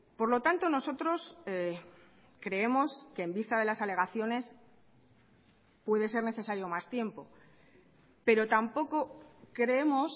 por lo tanto nosotros creemos que en vista de las alegaciones puede ser necesario más tiempo pero tampoco creemos